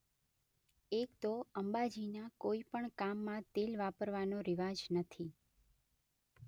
એક તો અંબાજીના કોઈ પણ કામમાં તેલ વાપરવાનો રિવાજ નથી.